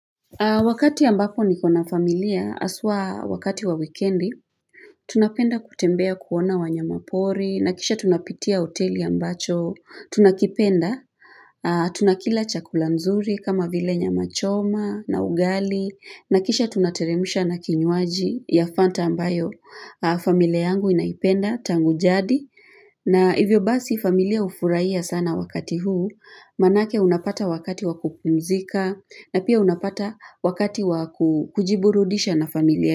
Wakati ambapo niko na familia haswaa wakati wa wikendi, tunapenda kutembea kuona wanyamapori, na kisha tunapitia hoteli ambacho, tunakipenda, tunakila chakula nzuri kama vile nyama choma na ugali, nakisha tunateremsha na kinywaji ya fanta ambayo, familia yangu inaipenda tangu jadi. Na hivyo basi familia hufurahia sana wakati huu, maanake unapata wakati wakupumzika na pia unapata wakati wakujiburudisha na familia.